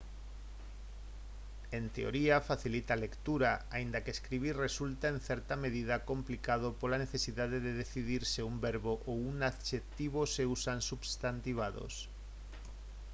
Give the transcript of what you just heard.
en teoría facilita a lectura aínda que escribir resulta en certa medida complicado pola necesidade de decidir se un verbo ou un adxectivo se usan substantivados